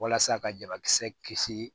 Walasa ka jabakisɛ kisi